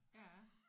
Ja